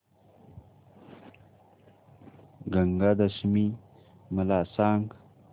गंगा दशमी मला सांग